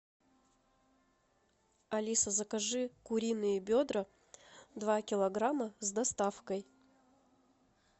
алиса закажи куриные бедра два килограмма с доставкой